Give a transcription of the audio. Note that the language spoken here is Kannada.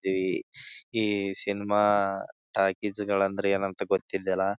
ದಿ ಈ ಸಿನಿಮಾ ಟಾಕೀಸ್ ಗಳಂದ್ರೆ ಏನಂತ ಗೊತ್ತಿಲ್ಲ ಅಲಾ.